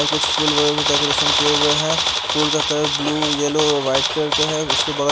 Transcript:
और कुछ फूल वाली डेकोरेशन किया हुआ है फूल का colour blue yellow white colour का है उसके बग--